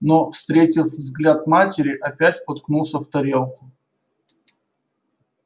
но встретив взгляд матери опять уткнулся в тарелку